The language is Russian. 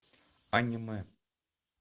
аниме